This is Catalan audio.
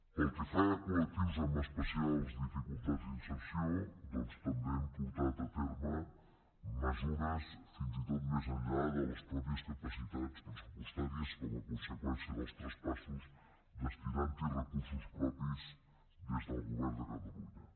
pel que fa a col·serció doncs també hem portat a terme mesures fins i tot més enllà de les mateixes capacitats pressupostàries com a conseqüència dels traspassos i hi hem destinat recursos propis des del govern de catalunya